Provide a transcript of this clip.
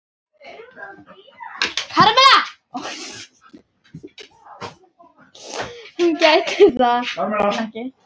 Hún gæti það ekki.